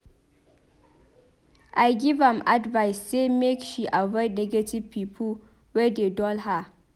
I give am advice sey make she avoid negative pipo wey dey dull her.